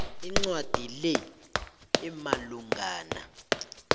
incwadi le imalungana